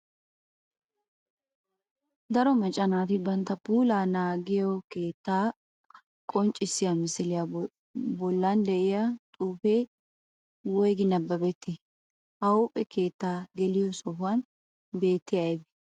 Daro macca naati bantta puulaa naagiyo keettaa qonccissiya misiliya bollan de'iya xuufee woygi nababettii? Ha huuphphe keettaa geliyo sohuwan beettiyay aybee?